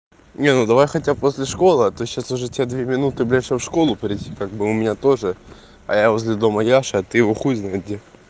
не ну давай хотя бы после школы а то сейчас уже тебе две минуты блдяь чтобы в школу прийти как бы у меня тоже а я возле дома яшы ты его хуй знает где